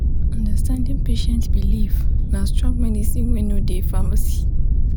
understanding patient belief na strong medicine wey no dey pharmacy.